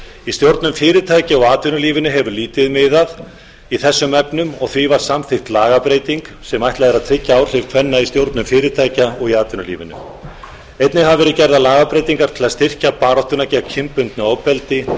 í stjórnum fyrirtækja í atvinnulífinu hefur lítið miðað í þessum efnum og því var samþykkt lagabreyting sem ætlað er að tryggja áhrif kvenna í stjórnum fyrirtækja og í atvinnulífinu einnig hafa verið gerðar lagabreytingar til að styrkja baráttuna gegn kynbundnu ofbeldi